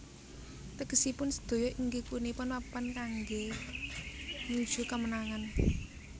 Tegesipun sedaya inggih punika Papan kangge nuju kemenangan